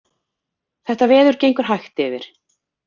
Þetta veður gengur hægt yfir